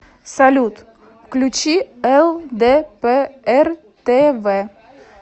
салют включи эл дэ пэ эр тэ вэ